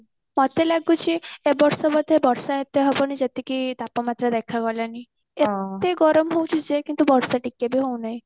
ମତେ ଲାଗୁଛି ଏ ବର୍ଷ ବୋଧେ ବର୍ଷା ଏତେ ହବନି ଯେତିକି ତାପମାତ୍ରା ଦେଖା ଗଲାଣି ଏତେ ଗରମ ହଉଛି ଯେ କିନ୍ତୁ ବର୍ଷା ଟିକେ ବି ହଉ ନାହିଁ